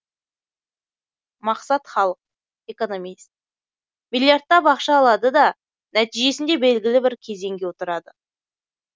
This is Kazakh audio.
мақсат халық экономист миллиардтап ақша алады да нәтижесінде белгілі бір кезеңге отырады